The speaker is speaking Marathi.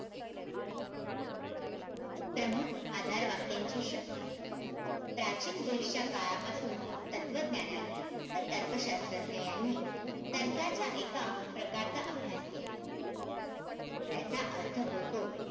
प्रमुख आधार वाक्यांची शक्ती. प्राचीन ग्रीसच्या काळापासून, तत्वज्ञानांनी व तर्क शास्रज्ञ यांनी तर्काचा एका प्रकारचा अभ्यास केला. त्याचा अर्थ होतो,